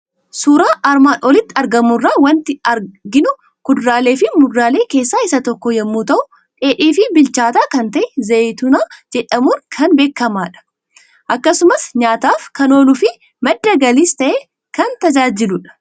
Suuraa armaan olitti argamu irraa waanti argamu; kuduraaleefi muduraalee keessaa isa tokko yommuu ta'u, dheedhiifi bilchaataa kan ta'e Zayitooni jedhamuun kan beekamadha. Akkasumas nyaataaf kan ooluufi madda galiis ta'ee kan tajaajiludha.